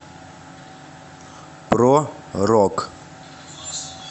про рок